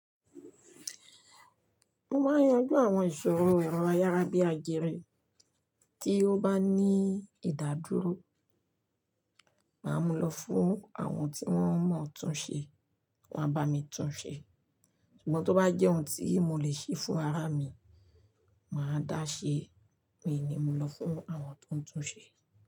Mo máa yanju àwọn ìṣòro èrò ayárábi àjẹre tí ó bá ní ìdádúró. Màá mu lọ fún àwọn tí wọ́n mọ̀ tún ṣe, wọ́n á bá mi tún ṣe. Ṣùgbọ́n tó bá jẹ́ ohun tí mo lè ṣe fún ara mi, màá dáṣe, mi ò ní mu lọ fún àwọn tó ń tún ṣe.